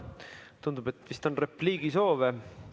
Tundub, et vist on repliigisoove.